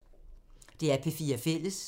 DR P4 Fælles